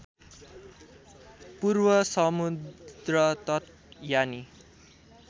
पूर्व समुद्रतट यानि